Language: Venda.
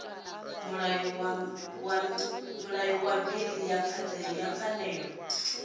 mulayo wa bili ya pfanelo